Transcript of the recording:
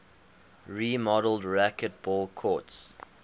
remodeled racquetball courts